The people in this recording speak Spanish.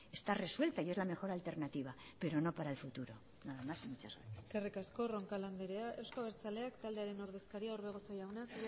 está resuelta y es la mejor alternativa pero no para el futuro nada más y muchas gracias eskerrik asko roncal andrea euzko abertzaleak taldearen ordezkaria orbegozo jauna